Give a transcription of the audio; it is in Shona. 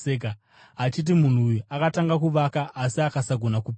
achiti, ‘Munhu uyu akatanga kuvaka asi akasagona kupedza.’